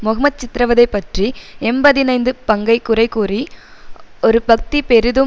மொஹ்மத் சித்திரவதை பற்றி எம்பதினைந்து பங்கை குறைகூறி ஒரு பத்தி பெரிதும்